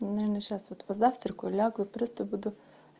наверное сейчас вот позавтракаю лягу просто буду